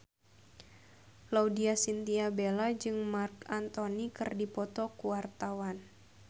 Laudya Chintya Bella jeung Marc Anthony keur dipoto ku wartawan